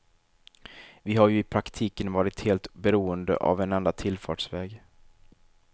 Vi har ju i praktiken varit helt beroende av en enda tillfartsväg.